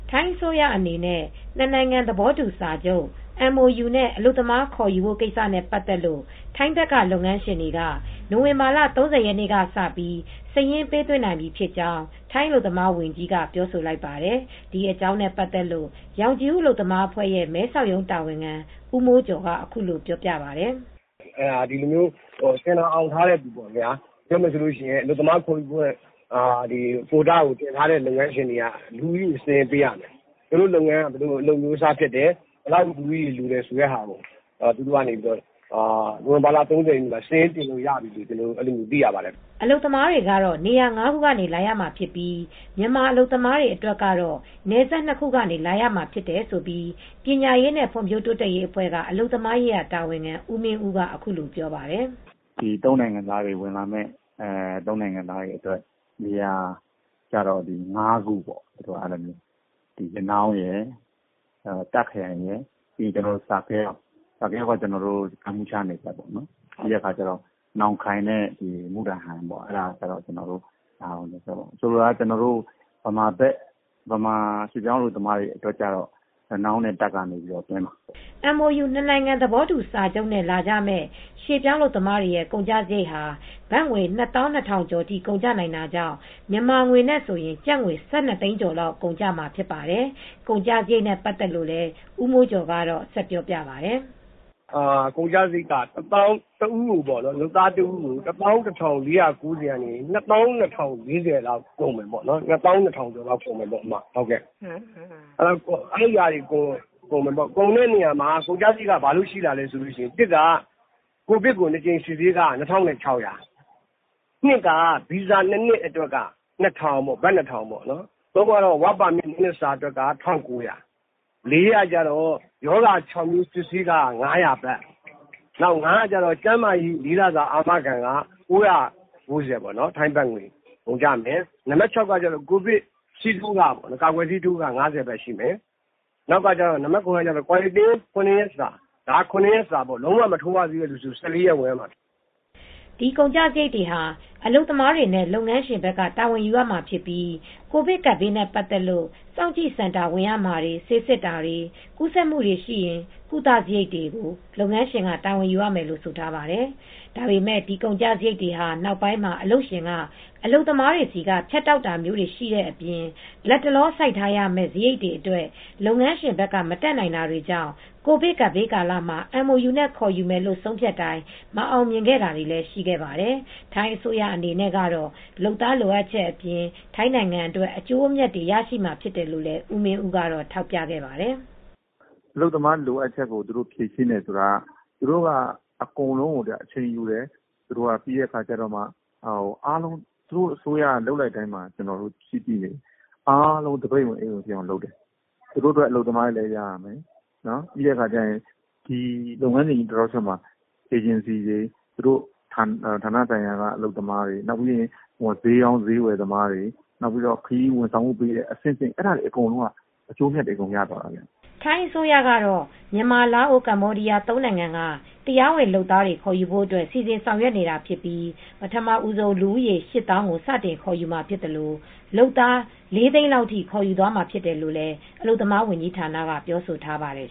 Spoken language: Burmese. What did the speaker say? ထိုင်းအစိုးရအနေနဲ့ နှစ်နိုင်ငံသဘောတူစာချုပ် MOU နဲ့ အလုပ်သမား ခေါ်ယူဖို့ကိစ္စနဲ့ ပတ်သက်လို့ ထိုင်းဘက်က လုပ်ငန်းရှင်တွေက နိုဝင်ဘာလ ၃၀ ရက်နေ့ကစပြီး စာရင်းပေးသွင်းနိုင်ပြီဖြစ်ကြောင်း ထိုင်းအလုပ်သမားဝန်ကြီးက ပြောဆိုလိုက်ပါတယ်။ ဒီအကြောင်းနဲ့ပတ်သက်လို့ ရောင်ခြည်ဦး အလုပ်သမားအဖွဲ့ရဲ့ မဲဆောက်ရုံးတာဝန်ခံ ဦးမိုးကျော်က အခုလိုပြောပြပါတယ်။ “တင်ဒါအောင်ထားတဲ့သူတွေ၊ အလုပ်သမားခေါ်ယူခွင့် ရထားတဲ့ လုပ်ငန်းရှင်တွေက လူဦးရေစာရင်းပေးရမယ်။ သူတို့လုပ်ငန်းက ဘယ်လိုလုပ်ငန်းအမျိုးအစား ဖြစ်တယ်၊ လူဦးရေ ဘယ်လောက်လိုသလဲ ဆိုတာကို နိုဝင်ဘာလ ၃၀ ရက်နေ့မှာ စာရင်းတင်လို့ ရပြီလို့ ကျနော်တို့ သိရပါတယ်။” အလုပ်သမားတွေကတော့ နေရာ ၅ ခုကနေ လာရမှာဖြစ်ပြီး မြန်မာအလုပ်သမားတွေ အတွက်ကတော့ နယ်စပ် ၂ ခုကနေ လာရမှာဖြစ်တယ်လို့ ပညာရေးနဲ့ ဖွံ့ဖြိုးတိုးတက်ရေးအဖွဲ့က အလုပ်သမားရေးတာဝန်ခံ ဦးမင်းဦးက အခုလိုပြောပါတယ်။ “၃ နိုင်ငံက လုပ်သားတွေ ဝင်လာမယ့် ၃ နိုင်ငံက အလုပ်သမားတွေအတွက် နေရာက ၅ ခုပေါ့၊ ရနောင်းရယ်၊ တာ့ခ် (Mae Sot) ရယ်၊ Sa Kaeo ရယ်၊ Sa Kaeo က ကမ္ဘောဒီးယား နယ်စပ်ပေါ့၊ ပြီးတော့ Nong Khain နဲ့ Mukdahan ပေါ့။ ဆိုလိုတာက မြန်မာရွှေ့ပြောင်းအလုပ်သမားတွေ အတွက်က ရနောင်းနဲ့ တာ့ခ် (Mae Sot) ကနေ သွင်းမှာပါ။” MOU နှစ်နိုင်ငံသဘောတူစာချုပ်နဲ့ လာကြမယ့် ရွှေ့ပြောင်းအလုပ်သမားတွေရဲ့ ကုန်ကျစရိတ်ဟာ ဘတ်ငွေ ၂၂,၀၀၀ ကျော်ထိ ကုန်ကျနိုင်တာကြောင့် မြန်မာငွေနဲ့ဆိုရင် ကျပ်ငွေ ၁၂ သိန်းကျော်လောက် ကုန်ကျမှာဖြစ်ပါတယ်။ ကုန်ကျစရိတ်နဲ့ ပတ်သက်လို့ ဦးမိုးကျော်က ဆက်ပြောပြပါတယ်။ “ကုန်ကျစရိတ်က လုပ်သားတဦးကို ၁၁,၄၉၀ ကနေ ၂၂,၀၄၀ လောက်ထိ ကုန်မယ်။ ၂၂,၀၀၀ ကျော်ထိကုန်မယ်။ ကုန်ကျစရိတ်က ဘာလို့ရှိလာလဲဆိုရင် (၁) ကတော့ ကိုဗစ် ၂ ကြိမ်စစ်ဆေးခ ၂,၆၀၀ ဘတ်၊ (၂) ကတော့ ဗီဇာ ၂ နှစ်အတွက် ၂,၀၀၀ ဘတ်၊ (၃) ကတော့ Work Permit (အလုပ်လုပ်ခွင့်ကတ်) အတွက် ၂ နှစ်စာက ၁,၉၀၀ ဘတ်၊ (၄) ကကျတော့ ရောဂါ ၆ မျိုး စစ်ဆေးခ ၅၀၀ ဘတ်၊ (၅) ကတော့ ကျန်းမာရေး ၄ လစာ အာမခံခ ၉၉၀ ဘတ် ထိုင်းဘတ်ငွေ ကုန်ကျမယ်။ နံပါတ် (၆) က ကိုဗစ် ကာကွယ်ဆေးထိုးခ ၅၀ ဘတ်ရှိမယ်။ နံပါတ် (၇) ကတော့ ကွာရန်တင်း (စောင့်ကြည့်စင်တာ) ဝင်ရမယ့်စရိတ် ၇ ရက်စာဖိုး။ ကာကွယ်ဆေး လုံးဝမထိုးရသေးဘူးဆိုရင် ၁၄ ရက်ဝင်ရမှာဖြစ်တယ်။” ဒီကုန်ကျစရိတ်တွေဟာ အလုပ်သမားတွေနဲ့ လုပ်ငန်းရှင်က တာဝန်ယူရမှာဖြစ်ပြီး ကိုဗစ်ကပ်ဘေးနဲ့ ပတ်သက်လို့ စောင့်ကြည့်စင်တာ ဝင်ရမှာတွေ၊ ဆေးစစ်တာတွေ၊ ကူးစက်မှုတွေရှိရင် ကုသစရိတ်တွေကို လုပ်ငန်းရှင်က တာဝန်ယူရမယ်လို့ ဆိုထားပါတယ်။ ဒါပေမယ့် ဒီကုန်ကျစရိတ်တွေဟာ နောက်ပိုင်းမှာ အလုပ်ရှင်က အလုပ်သမားတွေဆီက ဖြတ်တောက်တာမျိုးတွေ ရှိတဲ့အပြင် လတ်တလော စိုက်ထားရမယ့် စရိတ်တွေအတွက် လုပ်ငန်းရှင်တွေဘက်က မတတ်နိုင်တာတွေကြောင့် ကိုဗစ်ကပ်ဘေးကာလမှာ MOU နဲ့ ခေါ်ယူမယ်လို့ ဆုံးဖြတ်တိုင်း မအောင်မြင်ခဲ့တာလည်း ရှိခဲ့ပါတယ်။ ထိုင်းအစိုးရ အနေနဲ့ကတော့ လုပ်သားလိုအပ်ချက်အပြင် ထိုင်းနိုင်ငံအတွက် အကျိုးအမြတ်တွေ ရရှိမှာဖြစ်တယ်လို့လည်း ဦးမင်းဦးကတော့ ထောက်ပြပါတယ်။ “အလုပ်သမား လိုအပ်ချက်ကို သူတို့ ဖြေရှင်းတယ်ဆိုတာက သူတို့က အကုန်လုံးကို အချိန်ယူတယ်။ သူတို့အစိုးရက လုပ်လိုက်တိုင်းမှာ အားလုံး သပိတ်ဝင်အိတ်ဝင်ဖြစ်အောင် လုပ်တယ်။ သူတို့အတွက် အလုပ်သမားတွေလည်း ရရမယ်၊ လုပ်ငန်းစဉ် Process အားလုံးမှာ သူတို့ရဲ့ ဌာနဆိုင်ရာက အလုပ်သမားတွေ၊ အေဂျင်စီတွေ၊ ဈေးရောင်းဈေးဝယ်သမားတွေ၊ ခရီးဝန်ဆောင်မှုုပေးတဲ့ အဆင့်ဆင့် အဲဒါတွေအကုန်လုံးက အကျိုးအမြတ်တွေ အကုန်ရသွားတာပဲ။” ထိုင်းအစိုးရကတော့ မြန်မာ၊ လာအို၊ ကမ္ဘောဒီးယား ၃ နိုင်ငံက တရားဝင်လုပ်သားတွေ ခေါ်ယူဖို့အတွက် စီစဉ်ဆောင်ရွက်နေတာဖြစ်ပြီး ပထမဦးဆုံး လူဦးရေ ၈၀,၀၀၀ ကို စတင်ခေါ်ယူမှာ ဖြစ်သလို လုပ်သား ၄၀၀,၀၀၀ လောက်ထိ ခေါ်ယူသွားမှာ ဖြစ်တယ်လို့ အလုပ်သမား ဝန်ကြီးဌာနက ပြောဆိုထားပါတယ်